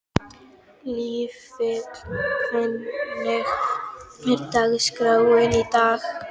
Vífill, hvernig er dagskráin í dag?